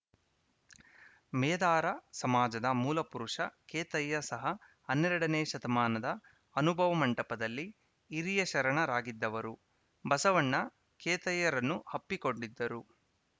ಮೇದಾರ ಸಮಾಜದ ಮೂಲ ಪುರುಷ ಕೇತಯ್ಯ ಸಹ ಹನ್ನೆರಡನೇ ಶತಮಾನದ ಅನುಭವ ಮಂಟಪದಲ್ಲಿ ಹಿರಿಯ ಶರಣರಾಗಿದ್ದವರು ಬಸವಣ್ಣ ಕೇತಯ್ಯರನ್ನು ಅಪ್ಪಿಕೊಂಡಿದ್ದರು